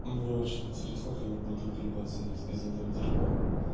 мне очень интересно как они будут выбиваться из этого дерьма